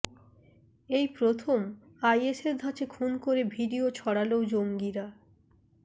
এই প্রথম আইএসের ধাঁচে খুন করে ভিডিও ছড়াল জঙ্গিরা